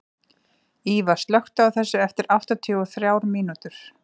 Íva, slökktu á þessu eftir áttatíu og þrjár mínútur.